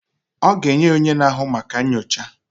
Ọ ga enye ya onye na-ahụ maka nnyocha.